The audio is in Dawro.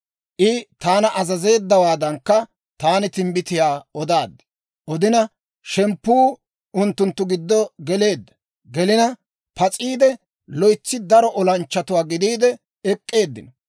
I taana azazeeddawaadankka, taani timbbitiyaa odaaddi; shemppuu unttunttu giddo gelina pas'iide, loytsi daro olanchchatuwaa gidiide ek'k'eeddino.